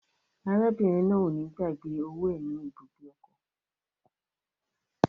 Arábìnrin náà o ni gbàgbé owó è ní ibùgbé ọkọ.